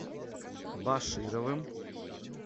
башировым